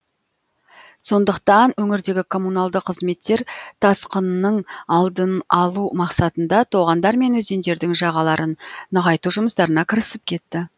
сондықтан өңірдегі коммуналды қызметтер тасқынның алдын алу мақсатында тоғандар мен өзендердің жағаларын нығайту жұмыстарына кірісіп кетті